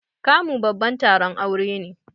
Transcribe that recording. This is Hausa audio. Kamu babban taron aure ne.